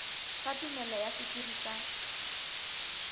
sa tumello ya sekiri sa